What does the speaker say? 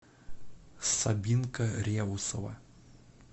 сабинка реусова